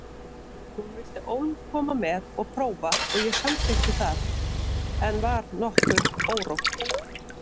Hún vildi ólm koma með og prófa og ég samþykkti það en var nokkuð órótt.